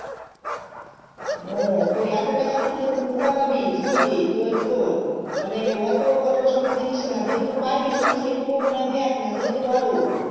উহ তো এইতো টাকা তো তুই এখন কথা পাবি বুঝলি তো শোন মানে অটো বোরো বোরো সম্পন্ন দেখিস না যে টুকু পারবি তুই সেটুকু মা যে দেখ না সেটা তো ভালো